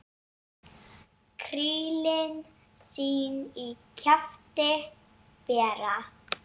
Krílin sín í kjafti bera.